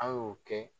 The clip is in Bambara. A y'o kɛ